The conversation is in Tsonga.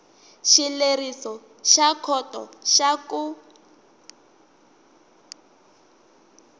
xileriso xa khoto xa ku